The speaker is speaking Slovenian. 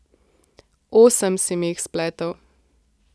Osem si mi jih spletel.